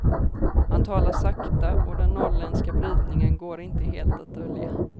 Han talar sakta, och den norrländska brytningen går inte helt att dölja.